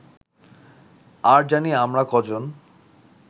আর জানি আমরা কজন